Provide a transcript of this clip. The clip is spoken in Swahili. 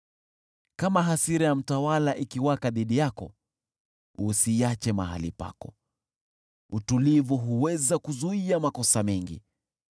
Kama hasira ya mtawala ikiwaka dhidi yako, usiache mahali pako, utulivu huweza kuzuia makosa mengi.